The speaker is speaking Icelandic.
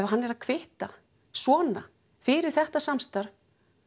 hann er að kvitta svona fyrir þetta samstarf